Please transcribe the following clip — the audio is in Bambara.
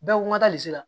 Bɛɛ ko n ka taa zira la